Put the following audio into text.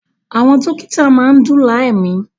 Àwọn dókítà máa ń dóòlà ẹ̀mí